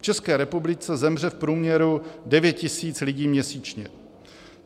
V České republice zemře v průměru 9 000 lidí měsíčně.